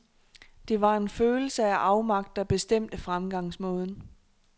Det var en følelse af afmagt, der bestemte fremgangsmåden.